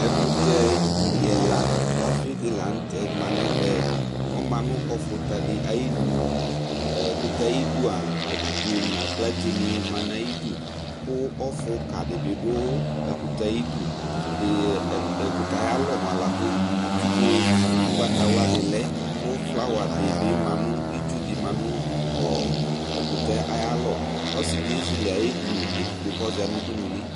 ɛkutɛ ilila doafi di lă tɛ ma nɛ ɛvɛ ɔma nu ɔfuta di ayinu ɛkutɛ ayi dua abidzo na aklaté ni ma nayi du ku ɔfuka di bi du ɛkutɛ ayi du ɛkutɛ ayalɔ moa laku atigo ugbataxla di lɛ ku flawa dibi ma nu itsu di manu ɛkutɛ aya l kɔ ọsidi ézélé ayédini kɔdza nu udunuli